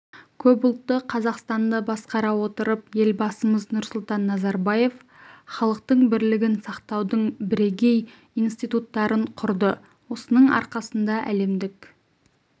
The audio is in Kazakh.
көпұлтты қазақстанды басқара отырып елбасымыз нұрсұлтан назарбаев халықтың бірлігін сақтаудың бірегей институттарын құрды осының арқасында әлемдік